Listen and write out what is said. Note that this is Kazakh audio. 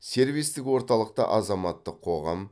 сервистік орталықта азаматтық қоғам